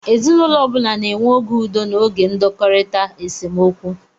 Ezinaụlọ ọ bụla na-enwe oge udo na oge ndọkọrita (esemokwu).